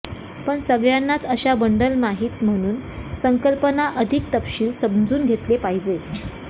पण सगळ्यांनाच अशा बंडल माहीत म्हणून संकल्पना अधिक तपशील समजून घेतले पाहिजे